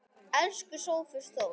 Elsku Sófus Þór.